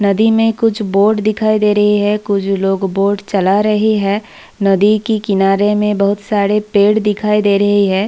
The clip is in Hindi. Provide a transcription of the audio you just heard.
नदी में कुछ बोट दिखाई दे रही है कुछ लोग बोट चला रहे हैं | नदी की किनारे में बहुत सारे पेड़ दिखाई दे रही है।